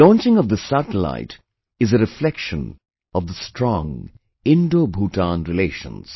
The launching of this satellite is a reflection of the strong IndoBhutan relations